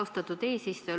Austatud eesistuja!